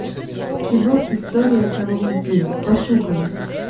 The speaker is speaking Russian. кино история одного вампира пошукай